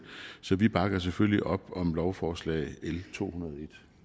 så vi bakker selvfølgelig op om lovforslag l to hundrede